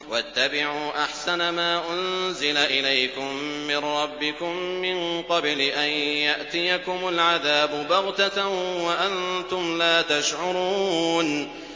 وَاتَّبِعُوا أَحْسَنَ مَا أُنزِلَ إِلَيْكُم مِّن رَّبِّكُم مِّن قَبْلِ أَن يَأْتِيَكُمُ الْعَذَابُ بَغْتَةً وَأَنتُمْ لَا تَشْعُرُونَ